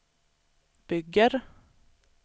bygger